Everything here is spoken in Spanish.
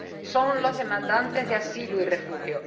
son los demandantes de asilo y refugio.